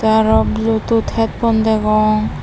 tey araw bluetooth headphone degong.